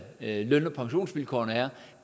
løn og pensionsvilkårene er